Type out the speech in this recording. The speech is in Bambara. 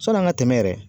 Sɔn'an ka tɛmɛ yɛrɛ